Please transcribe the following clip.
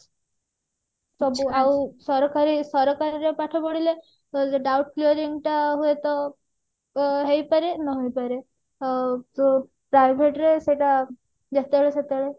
ଆଉ ସରକାରୀ ସରକାରୀ ରେ ପାଠ ପଢିଲେ ଏଇ ଯୋଉ doubt ଟା ହୁଏତ ଅ ହେଇପାରେ ନ ହେଇ ପାରେ ଅ ଯୋଉ private ରେ ସେଇଟା ଯେତେବେଳେ ସେତେବେଳେ